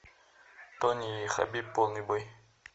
тони и хабиб полный бой